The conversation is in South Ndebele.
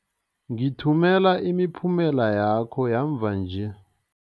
Ngithumela imiphumela yakho yamva nje.